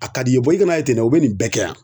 A ka d'i ye i ka n'a ye ten dɛ u be nin bɛɛ kɛ yan